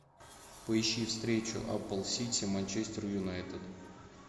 поищи встречу апл сити манчестер юнайтед